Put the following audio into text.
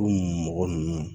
O mɔgɔ ninnu